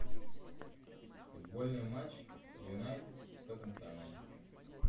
футбольный матч юнайтед с тоттенхэмом